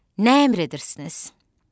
Nə əmr edirsiniz?